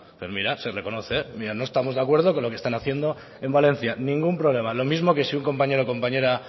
pues mira se reconoce mira no estamos de acuerdo con lo que están haciendo en valencia ningún problema lo mismo que si un compañero o compañera